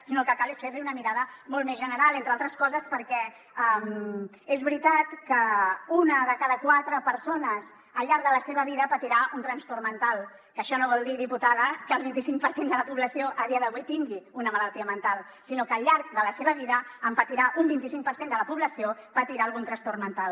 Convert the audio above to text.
sinó que el que cal és fer li una mirada molt més general entre altres coses perquè és veritat que una de cada quatre persones al llarg de la seva vida patirà un transport mental que això no vol dir diputada que el vint cinc per cent de la població a dia d’avui tingui una malaltia mental sinó que al llarg de la seva vida en patirà un vint cinc per cent de la població patirà algun trastorn mental